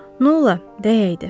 Nola, dəyəydi.